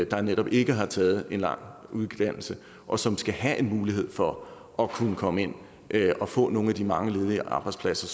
der netop ikke har taget en lang uddannelse og som skal have en mulighed for at kunne komme ind og få nogle af de mange ledige arbejdspladser